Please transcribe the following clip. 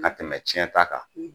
Kana tɛmɛ cɛn ta kan.